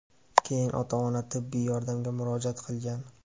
Keyin ota-ona tibbiy yordamga murojaat qilgan.